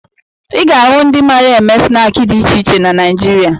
Ị ga-ahụ ndị mara eme snaakị dị iche iche na Naịjirịa